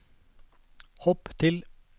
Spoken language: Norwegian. hopp til